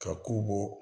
Ka ko bɔ